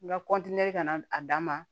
N ka kɔntiniye ka na a dama